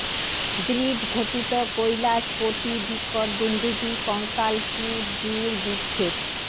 দৃঢ ঘটিত কৈলাস কোটি বিকট দুন্দুভি কঙ্কাল কূট দূর বিক্ষেপ